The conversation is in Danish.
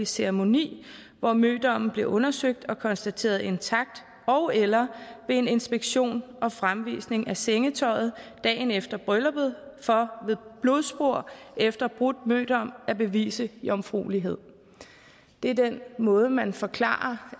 ceremoni hvor mødommen blev undersøgt og konstateret intakt ogeller ved en inspektion og fremvisning af sengetøjet dagen efter brylluppet for ved blodspor efter brudt mødom at bevise jomfruelighed det er den måde man forklarer